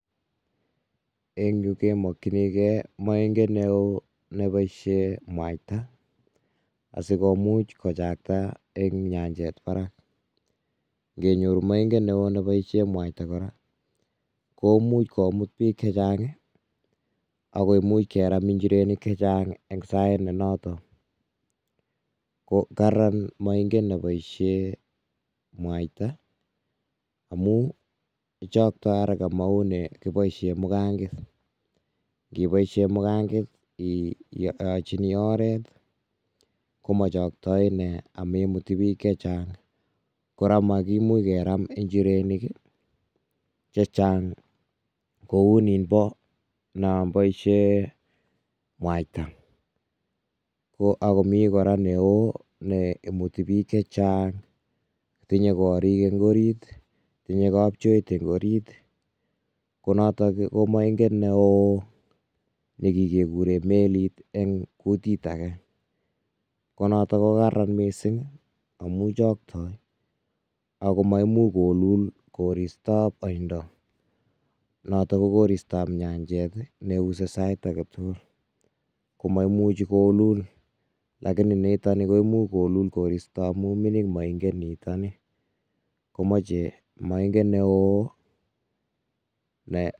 En yu, kemokchinikey, moinget neoo, neboisie mwaita. Asikomuch kochakta, eng' nyanjet barak. Ng'enyuro moinget neo ne boisien mwaita kora, koimuch komut biik che chang', ako imuch keram injirenik che chang' eng' sait notok. Ko kararan moinget ne boisien mwaita amu ichoktoi haraka, maun ne kiboisien mugang'et. Ng'eboisie mugangaet, yeiyochini oret, komachaktai inee amemuti biik che chang'. Kora makimuch keram njirenik che chang', koun niinbo, noon boisien mwaita. Ko agomii kora neo, neimuti biik che chang'. Tinye koriik eng orit, tinye kapchoit eng' orit, ko notok ko maing'et neoo, ne kikuren melit eng' kutit age. Ko notok ko kararan mising amu choktoi, akomaimuch kolul koristab oindo. Notok ko koristab nyanjet, ne use sait age tugul. Ko maimuchi koolul. Lakini nitol koimuch kolul koristo amuu mining' maing'et nitoni. Komache mainget neoo[um]